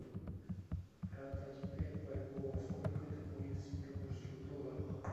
продать пять бальбоа сколько это будет в сингапурских долларах